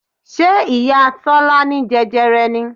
Ṣé ìyá Tọ́lá ní jẹjẹrẹ ni?